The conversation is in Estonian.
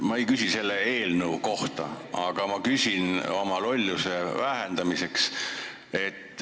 Ma ei küsi selle eelnõu kohta, vaid oma lolluse vähendamiseks.